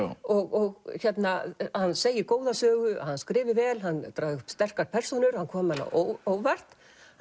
og að hann segi góða sögu skrifi vel dragi upp sterkar persónur hann komi manni á óvart